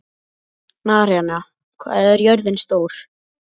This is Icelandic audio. Naranja, hvað er jörðin stór?